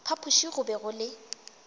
phapoši go be go le